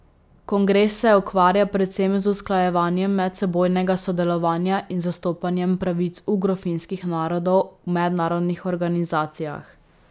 Kongres se ukvarja predvsem z usklajevanjem medsebojnega sodelovanja in zastopanjem pravic ugrofinskih narodov v mednarodnih organizacijah.